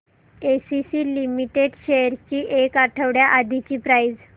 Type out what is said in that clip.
ACC limited shares ची एक आठवड्या आधीची प्राइस